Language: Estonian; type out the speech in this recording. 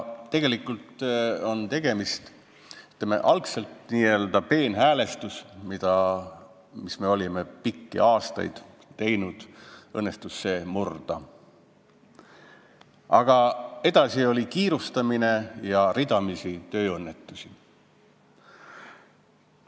Algul õnnestus see n-ö peenhäälestus, millega oldi pikki aastaid tegeldud, murda, aga edasi tuli kiirustamine ja ridamisi tööõnnetusi.